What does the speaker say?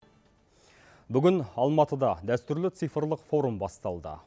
бүгін алматыда дәстүрлі цифрлық форум басталды